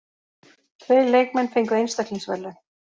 Tveir leikmenn fengu einstaklingsverðlaun.